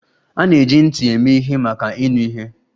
A na-eji ntị eme ihe maka ịnụ ihe.